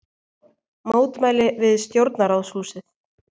Mótmæli við Stjórnarráðshúsið